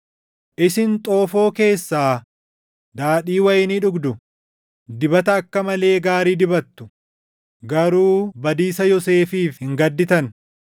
Isin xoofoo keessaa daadhii wayinii dhugdu; dibata akka malee gaarii dibattu; garuu badiisa Yoosefiif hin gadditan.